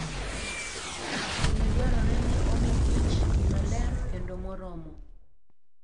Pile dwarore ni omi kich pi maler kendo moromo.